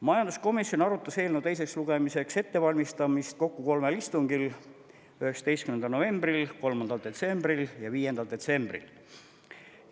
Majanduskomisjon arutas eelnõu teiseks lugemiseks ettevalmistamist kokku kolmel istungil: 19. novembril, 3. detsembril ja 5. detsembril.